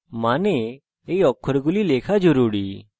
আপনার you অক্ষরগুলি লেখা জরুরী